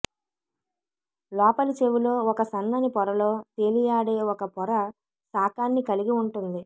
లోపలి చెవిలో ఒక సన్నని పొరలో తేలియాడే ఒక పొర శాకాన్ని కలిగి ఉంటుంది